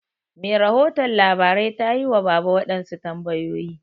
Mai rahoton labarai tayi wa baba waɗansu tambayoyi.